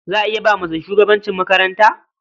Za a iya ba mace shugabancin makaranta?